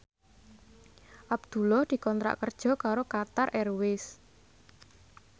Abdullah dikontrak kerja karo Qatar Airways